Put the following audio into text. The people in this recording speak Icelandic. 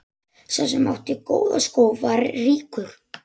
Sá sem átti góða skó var ríkur.